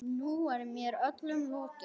Nú er mér öllum lokið.